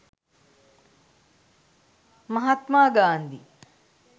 mahathma gandi